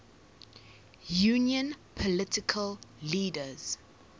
union political leaders